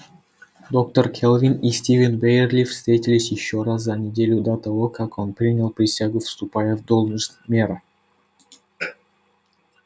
доктор кэлвин и стивен байерли встретились ещё раз за неделю до того как он принял присягу вступая в должность мэра